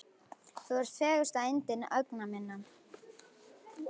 Þú ert fegursta yndi augna minna.